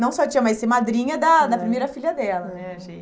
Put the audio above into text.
Não só tia, mas ser madrinha da da primeira filha dela né, achei.